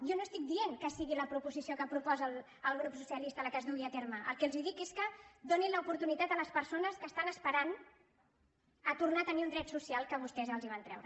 jo no estic dient que sigui la proposició que proposa el grup socialista la que es dugui a terme el que els dic és que donin l’oportunitat a les persones que estan esperant a tornar a tenir un dret social que vostès els van treure